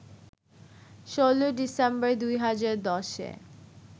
১৭ December, ২০১০-এ